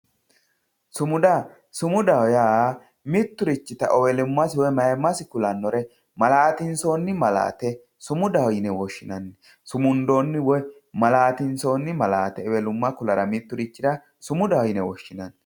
Sumuda, sumudaho yaa miturichita ewelumasi woyi mayimasi kulanore malatinsonni malate sumudaho yine woshinanni, sumundonni woyi malatinsonni malate ewelumma kulara miturichira sumudaho yine woshinanni